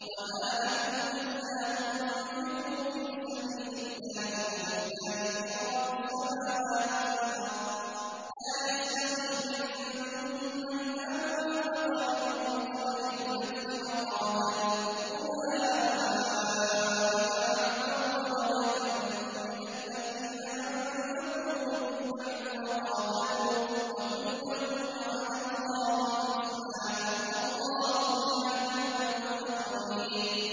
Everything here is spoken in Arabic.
وَمَا لَكُمْ أَلَّا تُنفِقُوا فِي سَبِيلِ اللَّهِ وَلِلَّهِ مِيرَاثُ السَّمَاوَاتِ وَالْأَرْضِ ۚ لَا يَسْتَوِي مِنكُم مَّنْ أَنفَقَ مِن قَبْلِ الْفَتْحِ وَقَاتَلَ ۚ أُولَٰئِكَ أَعْظَمُ دَرَجَةً مِّنَ الَّذِينَ أَنفَقُوا مِن بَعْدُ وَقَاتَلُوا ۚ وَكُلًّا وَعَدَ اللَّهُ الْحُسْنَىٰ ۚ وَاللَّهُ بِمَا تَعْمَلُونَ خَبِيرٌ